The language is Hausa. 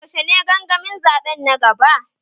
Yaushe ne gangamin zaɓe na gaba?